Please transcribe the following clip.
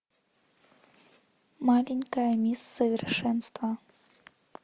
маленькая мисс совершенство